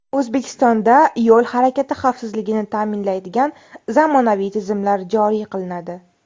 O‘zbekistonda yo‘l harakati xavfsizligini ta’minlaydigan zamonaviy tizimlar joriy qilinadi.